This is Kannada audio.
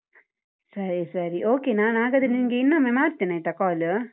ಸರಿ ಸರಿ okay ನಾನ್ ಹಾಗಾದ್ರೆ ನಿನ್ಗೆ ಇನ್ನೊಮ್ಮೆ ಮಾಡ್ತೇನಾಯ್ತಾ call ?